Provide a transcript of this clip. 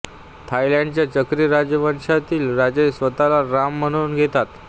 थायलंडच्या चक्री राजवंशातील राजे स्वतःला राम म्हणवून घेतात